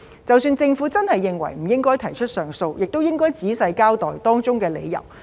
即使政府真的認為不應該提出上訴，亦應該仔細交代當中的理由。